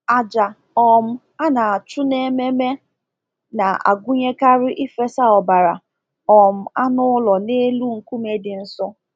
Àjà um a na-achụ n’ememe na-agụnyekarị ịfesa ọbara um anụ ụlọ n’elu nkume dị nsọ.